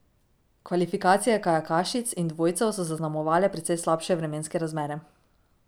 Kvalifikacije kajakašic in dvojcev so zaznamovale precej slabše vremenske razmere.